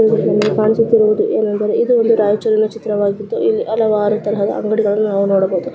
ಈ ಚಿತ್ರದಲ್ಲಿ ಕಾಣಿಸುತ್ತಿರುವುದು ಏನಂದರೆ ಇದು ಒಂದು ರಾಯಚೂರಿನ ಚಿತ್ರವಾಗಿದ್ದು ಇಲ್ಲಿ ಹಲವಾರು ತರಹದ ಅಂಗಡಿಗಳನ್ನು ನಾವು ನೊಡಬಹುದು .